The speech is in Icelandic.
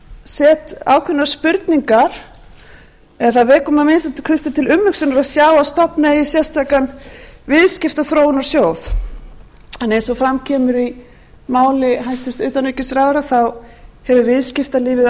set ákveðnar spurningar eða það vekur mann að minnsta kosti til umhugsunar að sjá að stofna eigi sérstakan viðskiptaþróunarsjóð en eins og fram kemur í máli hæstvirts utanríkisráðherra þá hefur viðskiptalífið